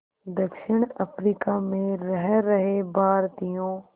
दक्षिण अफ्रीका में रह रहे भारतीयों